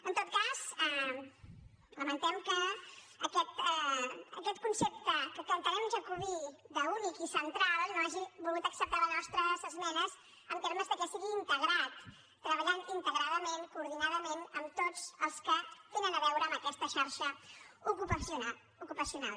en tot cas lamentem que aquest concepte que entenem jacobí d’únic i central no hagi volgut acceptar les nostres esmenes en termes que sigui integrat treballant integradament coordinadament amb tots els que tenen a veure amb aquesta xarxa ocupacional